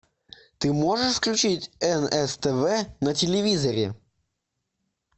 ты можешь включить нс тв на телевизоре